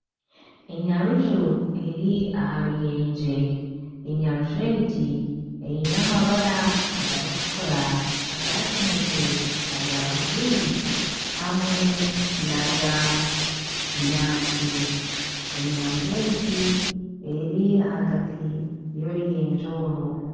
Enyaruju eri aha ruyenje, enyaruju egi eine amabara agarikutukura aga kinekye aga bururu hamwe n'aga kinyaatsi. Enyaruju egi eri ahagati y'oruyenje oru.